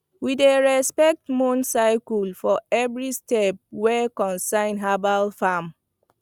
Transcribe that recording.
we dey respect moon cycles for every step wey concern herbal farm